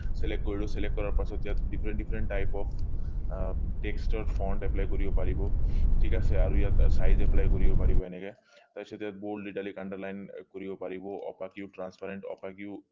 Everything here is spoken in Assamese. select কৰিলো select কৰাৰ পাছত ইয়াত different different type আহ text ৰ front apply কৰিব পাৰিব ঠিক আছে আৰু ইয়াত size apply কৰিব পাৰিব এনেকে তাৰ পিছত ইয়াত bold italic underline কৰিব পাৰিব